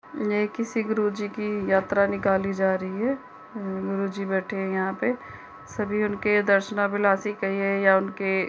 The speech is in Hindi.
यह किसी गुरूजी की यात्रा निकाली जा रही है | गुरीजी बैठे है | यहाँ पे सभी उनके दर्शनाभिलासी कहिये या उनके --